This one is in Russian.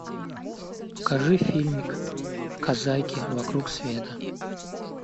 покажи фильмик казаки вокруг света